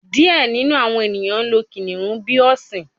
Diẹ ninu awọn eniyan lo kiniun bi ọsin